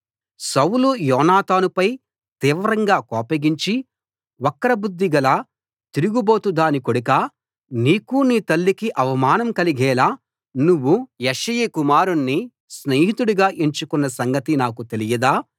సౌలు యోనాతానుపై తీవ్రంగా కోపగించి వక్రబుద్ధి గల తిరుగుబోతుదాని కొడుకా నీకూ నీ తల్లికీ అవమానం కలిగేలా నువ్వు యెష్షయి కుమారుణ్ణి స్నేహితుడిగా ఎంచుకొన్న సంగతి నాకు తెలియదా